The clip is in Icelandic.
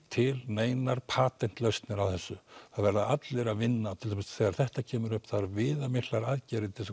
til neinar patent lausnir á þessu það verða allir að vinna til að mynda þegar þetta kemur upp þarf viðamiklar aðgerðir til